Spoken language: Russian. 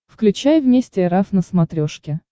включай вместе эр эф на смотрешке